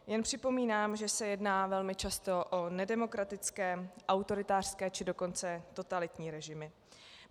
Jen připomínám, že se jedná velmi často o nedemokratické autoritářské, či dokonce totalitní režimy.